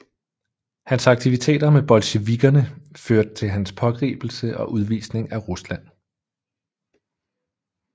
Hans aktiviteter med bolsjevikkerne førte til hans pågribelse og udvisning af Rusland